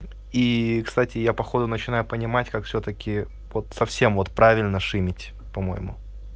и кстати я походу начинаю понимать как всё-таки вот совсем вот правильно шимить по-моему